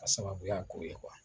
Ka sababu ya k'o ye